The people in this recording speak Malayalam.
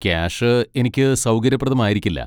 ക്യാഷ് എനിക്ക് സൗകര്യപ്രദമായിരിക്കില്ല.